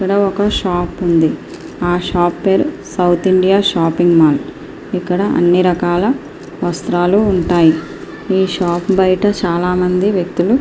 ఇక్కడ ఒక షాపు ఉంది ఆ షాపు పేరు సౌత్ ఇండియా షాపింగ్ మాల్ ఇక్కడ అన్ని రకాల వస్త్రాలు ఉంటాయి షాపు బయట చాలామంది వ్యక్తులు నిలబడి ఉన్నారు.